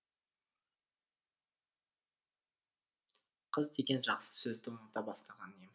қыз деген жақсы сөзді ұната бастаған ем